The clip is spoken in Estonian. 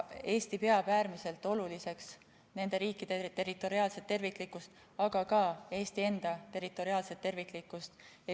Eesti peab äärmiselt oluliseks nende riikide territoriaalset terviklikkust, aga ka Eesti enda territoriaalset terviklikkust.